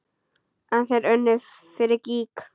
En þeir unnu fyrir gýg.